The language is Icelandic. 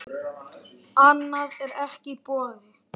Annað er ekki í boði.